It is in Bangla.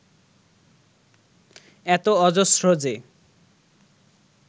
এতো অজস্র যে